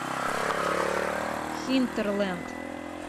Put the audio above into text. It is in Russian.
хинтерланд